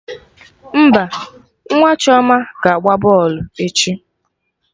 Mba, nwa Chioma ga agba bọlụ echi